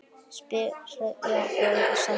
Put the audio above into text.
Spyrja og eiga samtal.